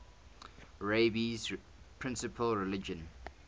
rabbi's principal religious